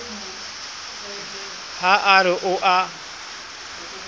ha a re o a